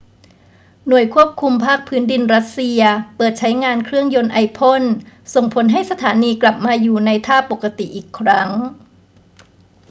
หน่วยควบคุมภาคพื้นดินรัสเซียเปิดใช้งานเครื่องยนต์ไอพ่นส่งผลให้สถานีกลับมาอยู่ในท่าปกติอีกครั้ง